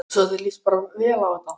Svo þér líst bara vel á þetta?